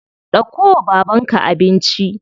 Dauko wa babanka abinci.